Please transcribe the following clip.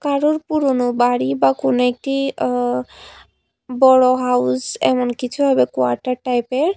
কারুর পুরনো বাড়ি বা কোন একটি আ বড় হাউস এমন কিছু হবে কোয়ার্টার টাইপের।